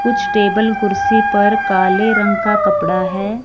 कुछ टेबल कुर्सी पर काले रंग का कपड़ा हैं।